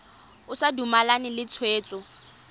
o sa dumalane le tshwetso